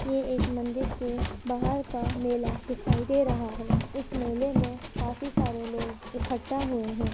ये एक मंदिर के बाहर का मेला दिखाई दे रहा है। इस मेले में काफी सारे लोग इखट्टा हुए हैं।